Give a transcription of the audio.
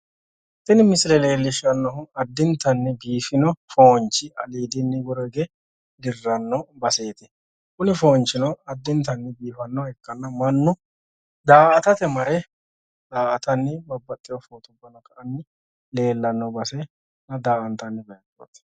tini misile leellishshannohu addintanni biifino foonchi aliidinni woro hige dirraanno baseeti tini kuni foonchino addintanni biifannoha ikkanna mannu daa''atate mare da''atanni leellanno baseetina daa''antanni baseeti,